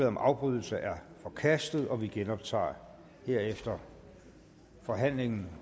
om afbrydelse er forkastet og vi genoptager herefter forhandlingen